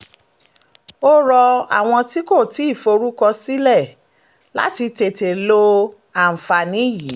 ó rọ àwọn tí kò tí ì forúkọsílẹ̀ láti tètè lo àǹfààní yìí